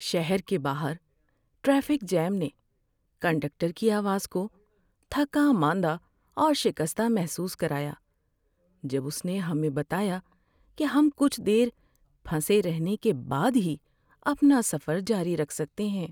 شہر کے باہر ٹریفک جام نے کنڈکٹر کی آواز کو تھکا ماندہ اور شکستہ محسوس کرایا جب اس نے ہمیں بتایا کہ ہم کچھ دیر پھنسے رہنے کے بعد ہی اپنا سفر جاری رکھ سکتے ہیں۔